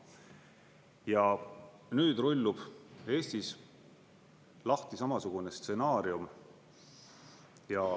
Ja nüüd rullub Eestis lahti samasugune stsenaarium.